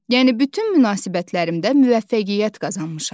Yəni bütün münasibətlərimdə müvəffəqiyyət qazanmışam.